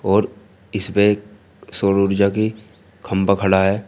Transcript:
और इसपे सौर ऊर्जा की खंबा खड़ा है।